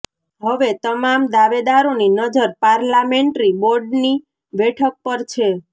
હવે તમામ દાવેદારોની નજર પાર્લામેન્ટ્રી બોર્ડની બેઠક પર છે